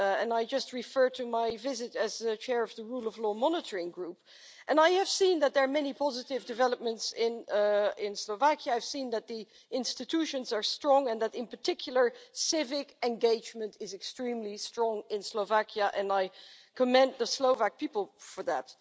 I just referred to my visit as the Chair of the Rule of Law Monitoring Group, and I have seen that there are many positive developments in Slovakia. I have seen that the institutions are strong and that civic engagement is extremely strong in Slovakia, and I commend the Slovak people for that.